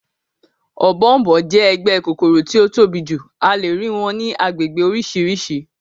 Ọ̀bọ̀ọ̀nbọọ̀n jẹ́ ẹgbẹ́ kòkòrò tí ó tóbi jù, a lè rí wọn ní agbègbè oríṣiríṣi